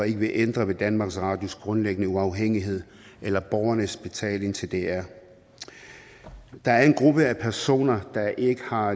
ikke vil ændre ved danmarks radios grundlæggende uafhængighed eller borgernes betaling til dr der er en gruppe personer der ikke har